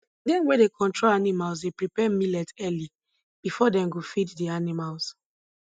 dem wey dey control animals dey prepare millet early before dem go feed the animals